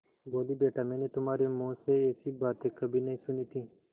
बोलीबेटा मैंने तुम्हारे मुँह से ऐसी बातें कभी नहीं सुनी थीं